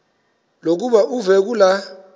lokuba uve kulaa